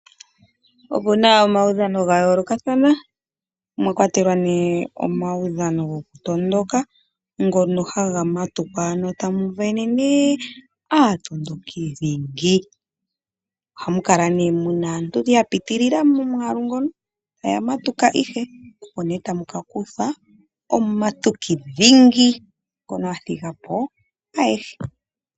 Opu na omaudhano ga yoolokathana mwa kwatelwa nee omaudhano gokutondoka ngono haga matukwa ano tamu vene nee aatondoki dhingi. Ohamu kala nee mu na aantu ya piitilila momwaalu mono taya matuka ihe, opo nee tamu ka kuthwa omumatuki dhingi ngono a thiga po ayehe.